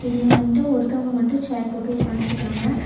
இதுலவன்டு ஒருத்தவங்க மட்டு சேர் போட்டு உக்கான்ட்ருக்காங்க.